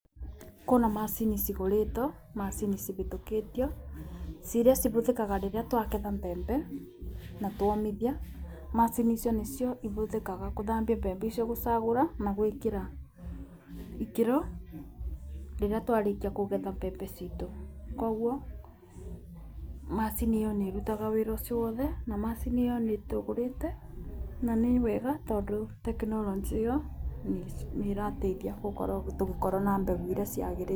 Kwĩna macini cigũrĩtwo, macini cihĩtũkĩtio. Ciria cihũthĩkaga rĩrĩa twagetha mbembe. Na twomithia, macini icio nĩcio ihũthĩkaga gũthambia mbembe icio, gũcagũra na gwĩkĩra ikĩro rĩrĩa twarĩkia kũgetha mbembe citũ. Kogwo macini ĩyo nĩĩrutaga wĩra ũcio wothe, na macini ĩyo nĩtũgũrĩte, na nĩ wega tondũ tekinoronjĩ ĩyo nĩ ĩrateithia gũkorwo tũgĩkorwo na mbegũ iria ciagĩrĩire.